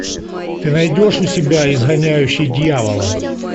ты найдешь у себя изгоняющий дьявола